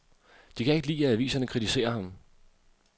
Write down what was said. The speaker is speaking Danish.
De kan ikke lide, at aviserne kritiserer ham.